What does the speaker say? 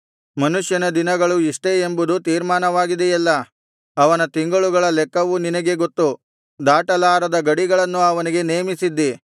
ಮನುಷ್ಯನ ದಿನಗಳು ಇಷ್ಟೇ ಎಂಬುದು ತೀರ್ಮಾನವಾಗಿದೆಯಲ್ಲಾ ಅವನ ತಿಂಗಳುಗಳ ಲೆಕ್ಕವು ನಿನಗೆ ಗೊತ್ತು ದಾಟಲಾರದ ಗಡಿಗಳನ್ನು ಅವನಿಗೆ ನೇಮಿಸಿದ್ದಿ